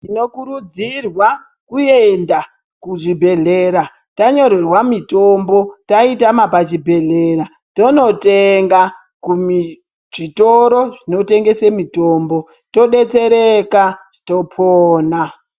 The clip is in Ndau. Tinokurudzirwa kuenda kuzvibhedhlera tanyorerwa mitombo taitama kuzvibhedhlera tonotenga kuzvitoro zvinotengesa mitombo todetsereka topona.